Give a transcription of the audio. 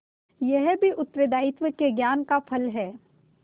यह भी उत्तरदायित्व के ज्ञान का फल है